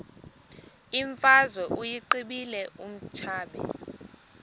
imfazwe uyiqibile utshaba